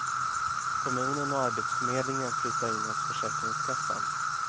Kommunen och arbetsförmedlingen flyttar in hos försäkringskassan.